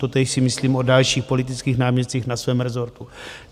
Totéž si myslím o dalších politických náměstcích na svém resortu.